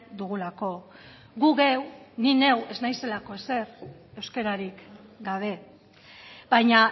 dugulako gu geu ni neu ez naizelako ezer euskararik gabe baina